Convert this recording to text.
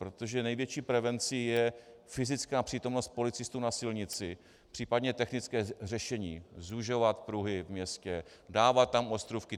Protože největší prezencí je fyzická přítomnost policistů na silnici, případně technické řešení, zužovat pruhy ve městě, dávat tam ostrůvky.